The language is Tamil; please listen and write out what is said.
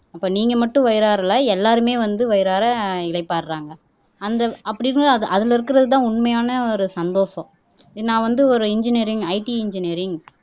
அப்ப நீங்க மட்டும் வயிறாரல எல்லாருமே வந்து வயிறார இளைப்பாறுறாங்க அந்த அப்படி இருந்தது அது அதுல இருக்கிறதுதான் உண்மையான ஒரு சந்தோஷம் நான் வந்து ஒரு இன்ஜினியரிங் IT இன்ஜினியரிங்